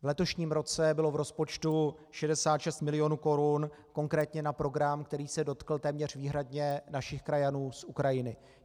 V letoším roce bylo v rozpočtu 66 milionů korun konkrétně na program, který se dotkl téměř výhradně našich krajanů z Ukrajiny.